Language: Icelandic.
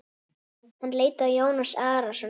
Hann leit á Jón Arason.